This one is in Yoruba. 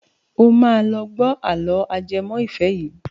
Ó máa lọ gbọ́ àlọ́ ajẹmọ́ ìfẹ́ yìí.